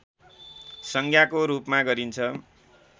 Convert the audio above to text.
संज्ञाको रूपमा गरिन्छ